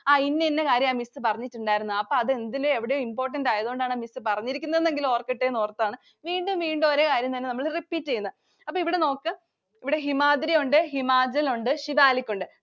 ആഹ് ഇന്ന ഇന്ന കാര്യമാ miss പറഞ്ഞിട്ടുണ്ടായിരുന്നത്. അപ്പൊ അത് എന്തിലോ എവിടെയോ important ആയതുകൊണ്ടാണ്‌ miss പറഞ്ഞിരിക്കുന്നതെങ്കിലും ഓര്‍ക്കട്ടെ എന്നോര്‍ത്താണ് വീണ്ടും, വീണ്ടും ഒരേ കാര്യങ്ങള്‍ തന്നെ നമ്മള് repeat ചെയ്യുന്നത്. അപ്പൊ ഇവിടെ നോക്ക്. ഇവിടെ ഹിമാദ്രി ഒണ്ട് ഹിമാചല്‍ ഒണ്ട്. സിവാലിക് ഒണ്ട്,